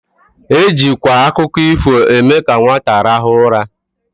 Ejikwa akụkọ ifo eme ka nwata rahụọ ụra.